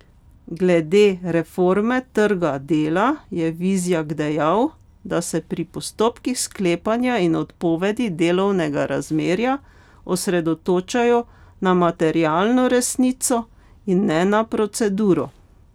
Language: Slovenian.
Glede reforme trga dela je Vizjak dejal, da se pri postopkih sklepanja in odpovedi delovnega razmerja osredotočajo na materialno resnico in ne na proceduro.